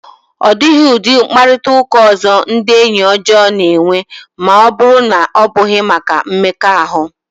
Ọ dịghị ụdị mkparịta ụka ọzọ ndị enyi ọjọọ na-enwe ma ọ bụrụ na ọ bụghị maka mmekọahụ.